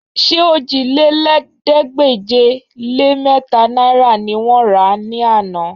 Ṣé òjìlélẹ́ẹ̀ẹ́dégbèje-lé-mẹ́ta náìrà ni wọ́n rà á ní àná?